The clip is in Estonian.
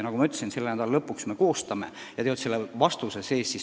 Nagu ma ütlesin, selle nädala lõpuks me vastuse koostame.